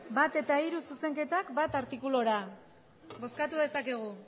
bat eta hiru zuzenketak lehenengo artikulura bozkatu dezakegu